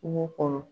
Kungo kɔnɔ